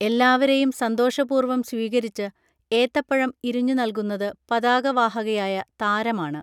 എല്ലാവരെയും സന്തോഷപൂർവം സ്വീകരിച്ച് ഏത്തപ്പഴം ഇരിഞ്ഞു നൽകുന്നത് പതാക വാഹകയായ താരമാണ്